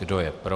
Kdo je pro?